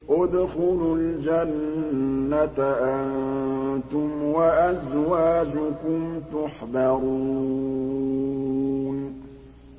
ادْخُلُوا الْجَنَّةَ أَنتُمْ وَأَزْوَاجُكُمْ تُحْبَرُونَ